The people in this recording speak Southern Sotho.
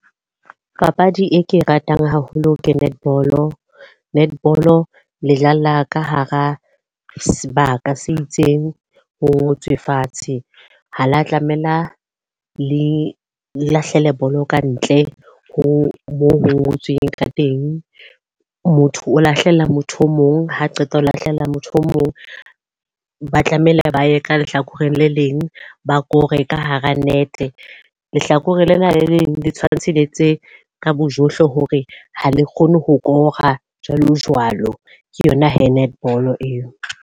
Papadi e ke e ratang haholo, ke netball. Netball, le dlala ka hara sebaka se itseng, ho ngotswe fatshe. Ha la tlamela le lahlele bolo kantle ho moo ho ngotsweng ka teng. Motho o lahlela motho o mong ha qeta ho lahlela motho o mong. Ba tlamehile ba ye ka lehlakoreng re le leng ba kore ka hara nete. Lehlakoreng lena le leng le tshwantshe le tse ka bojohle hore ha le kgone ho kora jwalo, jwalo. Ke yona he netball eo.